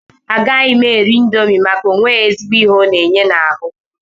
Agaghị m eri indomi maka onwe ezigbo ihe ọ na-enye n'ahụ.